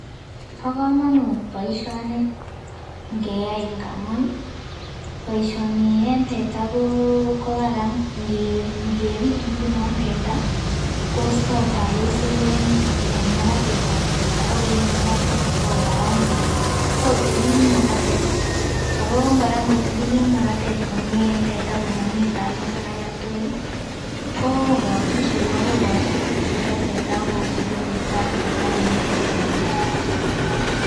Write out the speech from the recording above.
Bo komonut boishoni nkeyai ngamun boishoni en teta koo Karan ngepit ngunon teta kosto talusik en makatatab teta ak koyoe makatet ko kararanit tii ako tililit makatet tii ako Koraa nkotililit makatet en teta komomii talusik agetukul lii ko kosut cheko , kokosu cheko teta akobure bortab teta komii kochomegee.